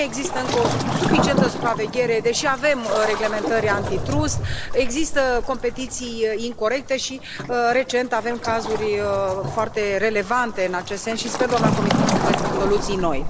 Nu există încă o suficientă supraveghere, deși avem reglementări antitrust, există competiții incorecte și recent avem cazuri foarte relevante în acest sens și sper, doamna comisar, să găsim soluții noi.